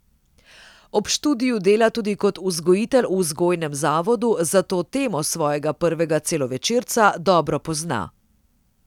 Ob študiju dela tudi kot vzgojitelj v vzgojnem zavodu, zato temo svojega prvega celovečerca dobro pozna.